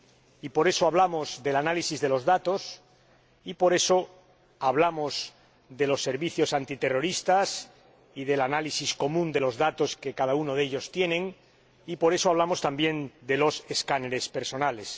Y por eso hablamos del análisis de los datos y por eso hablamos de los servicios antiterroristas y del análisis común de los datos que cada uno de ellos tiene y por eso hablamos también de los escáneres corporales.